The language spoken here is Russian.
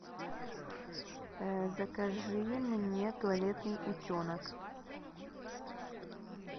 закажи мне туалетный утенок